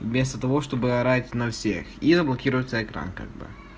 вместо того чтобы орать на всех и заблокируется экран как бы